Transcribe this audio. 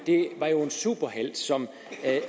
var jo en superhelt som